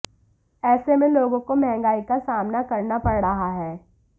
ऐसे में लोगों को महंगाई का सामना करना पड़ रहा है